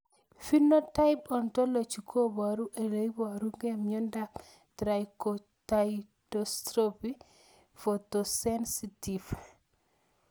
Phenotype ontology koparu ole iparukei miondop Trichothiodystrophy photosensitive